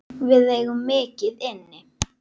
Við eigum mikið inni.